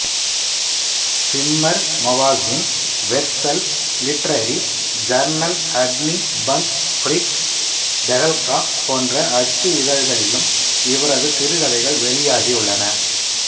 simmer magazine வெர்சல் literary journal அக்னி பங்க் ஃபிரிக் தெகல்கா போன்ற அச்சு இதழ்களிலும் இவரது சிறுகதைகள் வெளியாகியுள்ளன